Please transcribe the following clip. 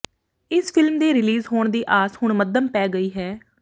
ਇਸ ਫ਼ਿਲਮ ਦੇ ਰਿਲੀਜ਼ ਹੋਣ ਦੀ ਆਸ ਹੁਣ ਮੱਧਮ ਪੈ ਗਈ ਹੈ